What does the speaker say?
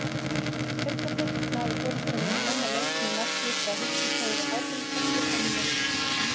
Augnablik náðu forystunni snemma leiks með marki frá Hildi Þóru Hákonardóttur á mínútu.